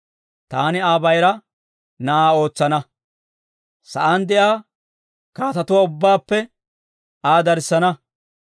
Taani Aa bayira na'aa ootsana; sa'aan de'iyaa kaatetuwaa ubbaappe Aa darssana.